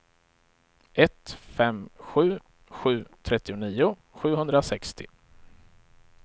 ett fem sju sju trettionio sjuhundrasextio